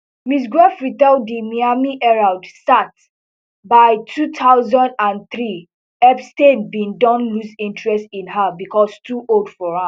miss gruffrey tell di miami herald sat by two thousand and three epstein bin don lose interest in her becos too old for am